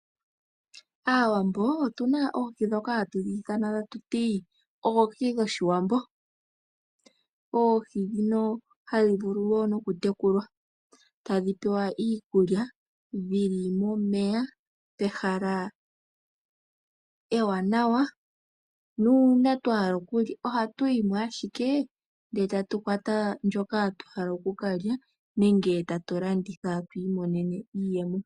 Aawambo otu na oohi dhoka hatu dhi ithana tatu ti oohi dhOshiwambo. Oogi dhino hadhi vulu wo nokutekulwa, tadji pewa iikulya dhi li momeya pehala ewanawa. Nuuna twa hala okulya, ohatu yi mo ashike ndele tatu kwata ndjoka twa hala oku ka lya, nenge tatu landitha tu imonene iiyemo.